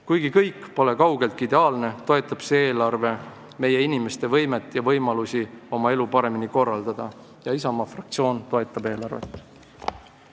Kuigi kõik pole kaugeltki ideaalne, toetab see eelarve meie inimeste võimet ja võimalusi oma elu paremini korraldada ning Isamaa fraktsioon toetab eelarvet.